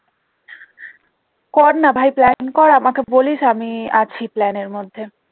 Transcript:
কর না ভাই plan কর আমাকে বলিস আমি আছি plan এর মধ্যে